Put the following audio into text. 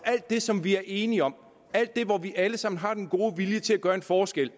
alt det som vi er enige om alt det hvor vi alle sammen har den gode vilje til at gøre en forskel